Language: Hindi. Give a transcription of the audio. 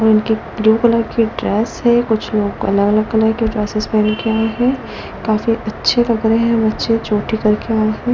और उनकी ब्लू कलर की ड्रेस है कुछ लोग अलग-अलग कलर के ड्रेसेस पहन के आए हैं काफी अच्छे लग रहे हैं बच्चे चोटी करके आए हैं।